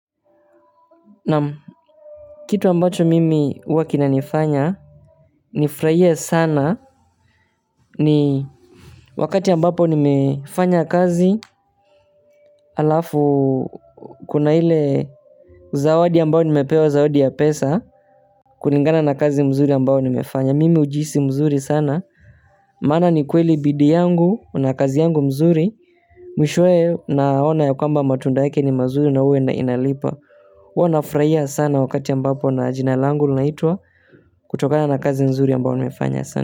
Naam, kitu ambacho mimi huwa kinanifanya nifurahie sana ni wakati ambapo nimefanya kazi halafu kuna ile zawadi ambayo nimepewa zawadi ya pesa kulingana na kazi nzuri ambayo nimefanya. Mimi huhisi vizuri sana, maana ni kweli bidii yangu na kazi yangu nzuri mwishowe naona ya kwamba matunda yake ni mazuri na huwa inalipa huwa nafurahia sana wakati jina langu linaitwa kutokana na kazi nzuri nimefanya.